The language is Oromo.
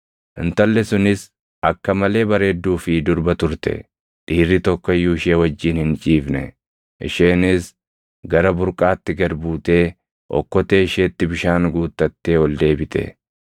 Intalli sunis akka malee bareedduu fi durba turte; dhiirri tokko iyyuu ishee wajjin hin ciifne. Isheenis gara burqaatti gad buutee okkotee isheetti bishaan guuttattee ol deebite.